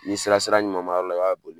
Ni sera sira ɲuman ma yɔrɔ la i b'a boli